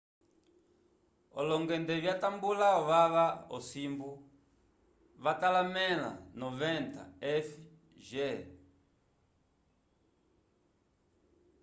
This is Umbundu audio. olonguende viatambula ovava osimbu vatalamẽla 90 f -g